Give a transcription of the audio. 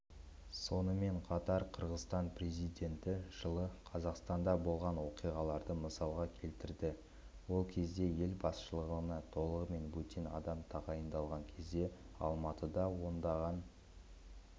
сонымен қатар қырғызстан президенті жылы қазақстанда болған оқиғаларды мысалға келтірді ол кезде ел басшылығына толығымен бөтен адам тағайындаған кезде алматыда ондаған